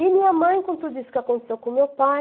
E minha mãe, com tudo isso que aconteceu com meu pai...